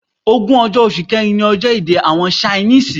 Ogún ọjọ́, oṣù kẹ́rin ní ọjọ́ èdè àwọn Ṣainísìì.